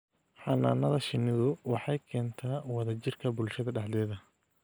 Xannaanada shinnidu waxay keentaa wadajirka bulshada dhexdeeda.